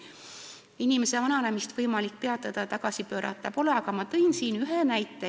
Inimese vananemist peatada ega tagasi pöörata võimalik ei ole, aga ma olen toonud siin ühe näite.